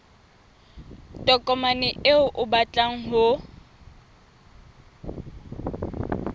tokomane eo o batlang ho